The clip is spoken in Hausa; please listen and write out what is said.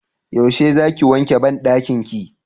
yaushe za ki wanke banɗakin ki?